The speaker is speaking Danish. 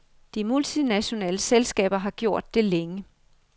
De multinationale selskaber har gjort det længe.